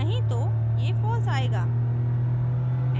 नहीं तो ये false आएगा